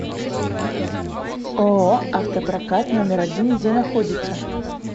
ооо автопрокат номер один где находится